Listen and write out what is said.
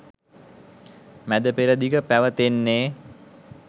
මැදපෙරදිග පැවතෙන්නේ.